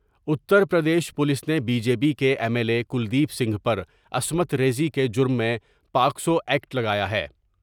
Uttar Pradesh police نے B J P کے M L A Kuldeep Singh پر عصمت ریزی کے جرم میں پاکسوا یکٹ لگایا ہے ۔